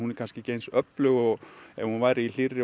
er kannski ekki eins öflug og ef hún væri í hlýrri